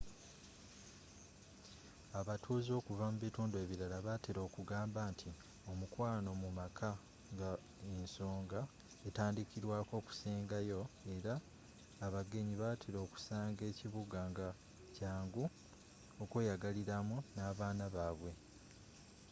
abatuuze okuva mubitundu ebirala batera okugamba nti omukwano mumaka nga ensonga etandikirwako okusenga yoo era abagenyi batera okusanga ekibuga nga kyangu okweyagaliramu nabaana babwe